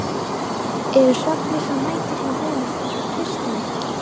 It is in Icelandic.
Ég varð smeyk og lokaði jafnharðan.